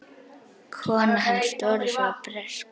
Kona hans Doris var bresk.